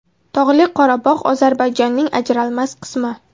Tog‘li Qorabog‘ Ozarbayjonning ajralmas qismi.